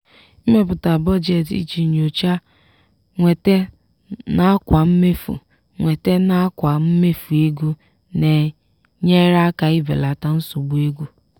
ịmepụta budjeeti iji nyochaa nnwete nakwa mmefu nnwete nakwa mmefu ego na-enyere aka ibelata nsogbu ego.